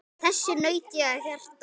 Þess naut ég af hjarta.